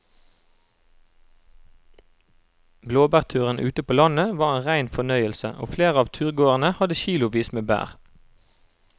Blåbærturen ute på landet var en rein fornøyelse og flere av turgåerene hadde kilosvis med bær.